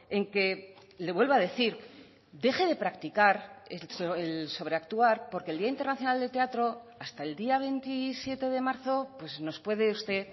en que le vuelvo a decir deje de practicar el sobreactuar porque el día internacional de teatro hasta el día veintisiete de marzo nos puede usted